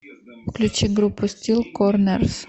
включи группу стил корнерс